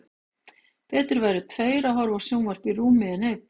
Betri væru tveir að horfa á sjónvarp í rúmi en einn.